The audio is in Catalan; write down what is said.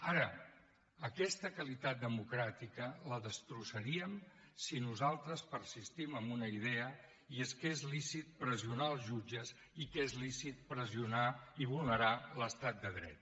ara aquesta qualitat democràtica la destrossaríem si nosaltres persistim en una idea i és que és lícit pressionar els jutges i que és lícit pressionar i vulnerar l’estat de dret